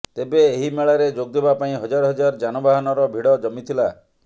ତେବେ ଏହି ମେଳାରେ ଯୋଗ ଦେବା ପାଇଁ ହଜାର ହଜାର ଯାନବାହାନର ଭିଡ଼ ଜମିଥିଲା